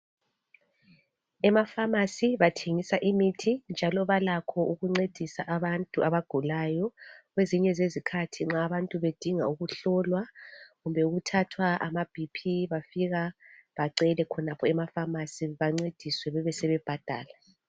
Ema pharmacy bathengisa imithi njalo balakho ukuncedisa abantu abagulayo kwezinye zezikhathi nxa abantu bedinga ukuhlolwa kumbe ukuthathwa ama BP bafika bacele khonapho ema pharmacy bancediswe bebesebebhadala.